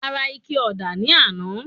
A ra ike ọ̀dà ní àná.